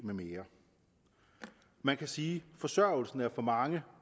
med mere man kan sige at forsørgelsen for mange